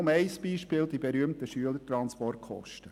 Ein Beispiel dafür sind die berühmten Schülertransportkosten.